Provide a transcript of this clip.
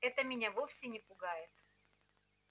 это меня вовсе не пугает